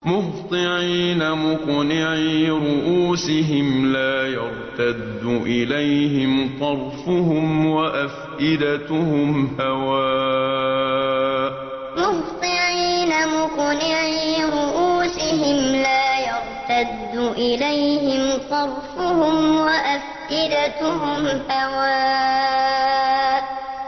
مُهْطِعِينَ مُقْنِعِي رُءُوسِهِمْ لَا يَرْتَدُّ إِلَيْهِمْ طَرْفُهُمْ ۖ وَأَفْئِدَتُهُمْ هَوَاءٌ مُهْطِعِينَ مُقْنِعِي رُءُوسِهِمْ لَا يَرْتَدُّ إِلَيْهِمْ طَرْفُهُمْ ۖ وَأَفْئِدَتُهُمْ هَوَاءٌ